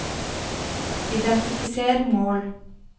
identifiser mål